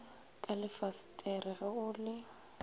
ka lefasetere ge o le